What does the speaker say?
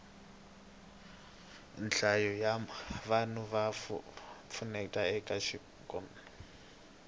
nhlayo ya vanhu ya pfuneta eka ikhonomi